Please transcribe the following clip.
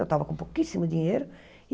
Eu estava com pouquíssimo dinheiro.